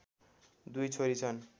दुई छोरी छन्